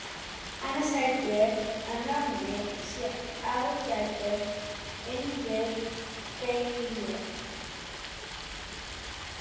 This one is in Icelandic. Annars held ég að Nonni sé ágætur inn við beinið.